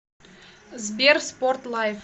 сбер спорт лайв